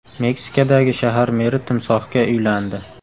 Meksikadagi shahar meri timsohga uylandi.